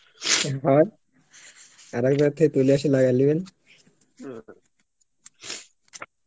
এবার থেকে তুইলা এসে লাগায় লিবেন